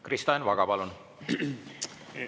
Kristo Enn Vaga, palun!